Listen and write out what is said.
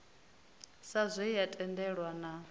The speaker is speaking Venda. sa zwe ya tendelwa na